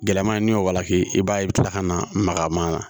Gɛlɛman ye n'i y'o walanke i b'a ye i bi kila ka na magama na